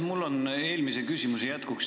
Mul on täpsustus eelmise küsimuse jätkuks.